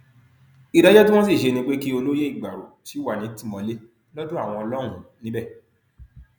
ìdájọ tí wọn sì ṣe ni pé kí olóyè ìgbárò síi wà nítìmọlé lọdọ àwọn lọhùnún níbẹ